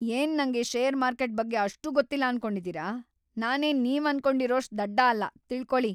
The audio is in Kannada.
ಏನ್ ನಂಗೆ ಷೇರ್ ಮಾರ್ಕೆಟ್‌ ಬಗ್ಗೆ ಅಷ್ಟೂ ಗೊತ್ತಿಲ್ಲ ಅನ್ಕೊಂಡಿದೀರ?! ನಾನೇನ್‌ ‌ನೀವನ್ಕೊಂಡಿರೋಷ್ಟ್‌ ದಡ್ಡ ಅಲ್ಲ, ತಿಳ್ಕೊಳಿ.